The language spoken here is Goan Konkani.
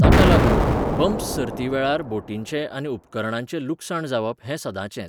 ताका लागून, बम्प्स सर्ती वेळार बोटींचें आनी उपकरणांचें लुकसाण जावप हें सदांचेंच.